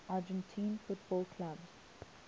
argentine football clubs